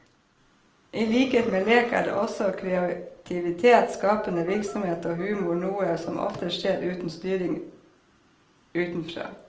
I likhet med lek er også kreativitet, skapende virksomhet og humor noe som oftest skjer uten styring utenfra.